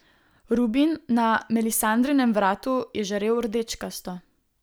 Rubin na Melisandrinem vratu je žarel rdečkasto.